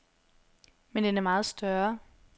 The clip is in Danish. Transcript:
Men den er meget større.